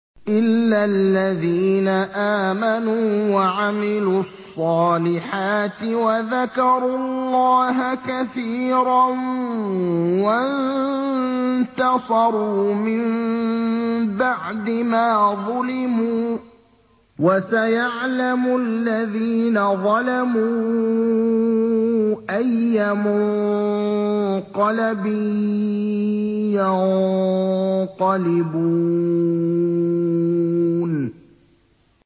إِلَّا الَّذِينَ آمَنُوا وَعَمِلُوا الصَّالِحَاتِ وَذَكَرُوا اللَّهَ كَثِيرًا وَانتَصَرُوا مِن بَعْدِ مَا ظُلِمُوا ۗ وَسَيَعْلَمُ الَّذِينَ ظَلَمُوا أَيَّ مُنقَلَبٍ يَنقَلِبُونَ